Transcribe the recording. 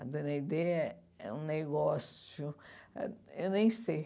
A Dona Aidê é um negócio... Eu nem sei.